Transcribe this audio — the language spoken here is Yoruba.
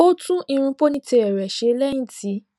ó tún irun ponytail rẹ ṣe lẹyìn tí